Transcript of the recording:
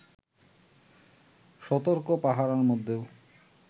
সতর্ক পাহারার মধ্যেও